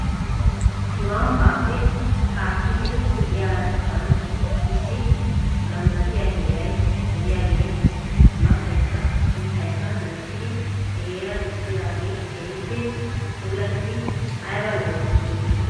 Nu ambbaappe haakkidi de'iyaasan issi ganddattiyaa heeray de'iyaagee maataykka mittaykka loyttidi he heeran diccidaagee keehippe puulattidi ayba lo'es giidetii .